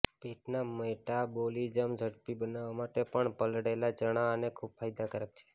પેટના મેટાબોલિજ્મ જડપી બનાવવા માટે પણ પલાળેલા ચણા ખૂબ ફાયદાકારક છે